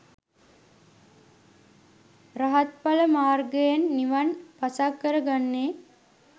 රහත්ඵල මාර්ගයෙන් නිවන් පසක් කර ගන්නේ